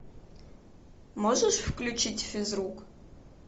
можешь включить физрук